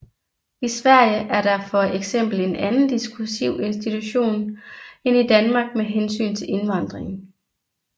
I Sverige er der for eksempel en anden diskursiv institution end i Danmark med hensyn til indvandring